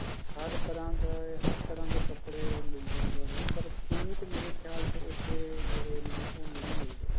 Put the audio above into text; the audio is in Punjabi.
ਹਰ ਤਰ੍ਹਾਂ ਦਾ ਹਰ ਤਰ੍ਹਾਂ ਦੇ ਕੱਪੜੇ ਮਿਲਦੇ ਹਨ ਜਿਵੇਂ ਪਰ suit ਮੇਰੇ ਖਿਆਲ ਚ ਉੱਥੇ ਜਿਹੜੇ ਨੇ ਉਹ ਨਹੀਂ ਮਿਲਦੇ